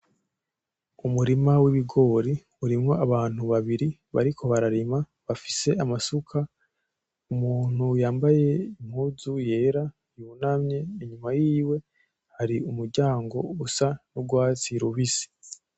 Umurima w’ibigori urimwo abantu babiri bariko bararima bafise amasuka, umuntu yambaye impunzu yera yunamye inyuma yiwe hari umuryango usa n’urwatsi rubisi.